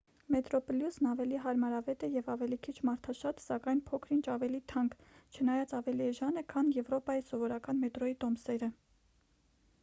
մետրոպլյուսն ավելի հարմարավետ է և ավելի քիչ մարդաշատ սակայն փոքր-ինչ ավելի թանկ չնայած ավելի էժան է քան եվրոպայի սովորական մետրոյի տոմսերը